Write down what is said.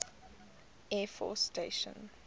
air force station